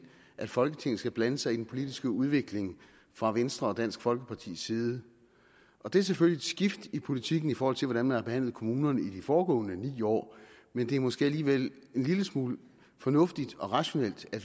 at folketinget skal blande sig i den politiske udvikling fra venstre og dansk folkepartis side det er selvfølgelig et skift i politikken i forhold til hvordan man har behandlet kommunerne i de foregående ni år men det er måske alligevel en lille smule fornuftigt og rationelt at